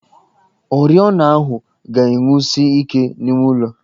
Oriọna ahụ ga-enwusi ike n'ime ụlọ